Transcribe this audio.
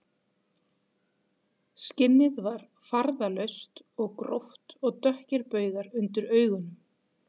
Skinnið var farðalaust og gróft og dökkir baugar undir augunum